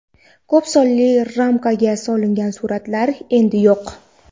Ko‘p sonli ramkaga solingan suratlar endi yo‘q.